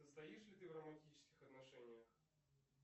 состоишь ли ты в романтических отношениях